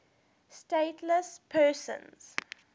stateless persons